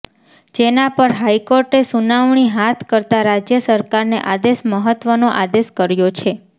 જેના પર હાઇકોર્ટે સુનાવણી હાથ કરતા રાજ્ય સરકારને આદેશ મહત્વનો આદેશ કર્યો છે